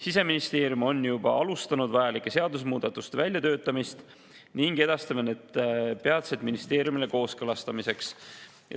Siseministeerium on juba alustanud vajalike seadusemuudatuste väljatöötamist ning edastame need peatselt ministeeriumidele kooskõlastamiseks.